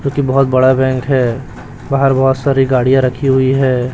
क्योकि बहोत बड़ा बैंक है बाहर बहोत सारी गाड़ियां रखी हुई है।